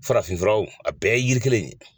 Farafin fura wo , a bɛɛ ye yiri kelen de ye.